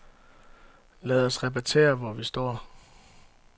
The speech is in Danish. Lad os repetere, hvor vi står.